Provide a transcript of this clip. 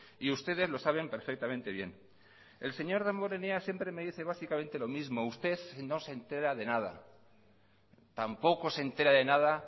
y ustedes lo saben perfectamente bien el señor damborenea siempre me dice básicamente lo mismo usted no se entera de nada tampoco se entera de nada